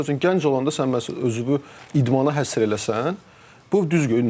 Məsəl üçün gənc olanda sən məsələn özünü idmana həsr eləsən, bu düzgün olar.